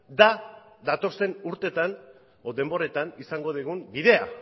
da datozen urtetan edo denboretan izango dugun bidea